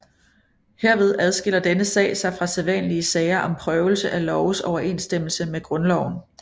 Herved adskiller denne sag sig fra sædvanlige sager om prøvelse af loves overensstemmelse med Grundloven